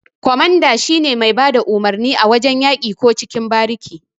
Ƙwamanda shine mai bada umurni a wajan yaki ko cikin bariki.